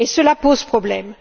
Cela pose problème.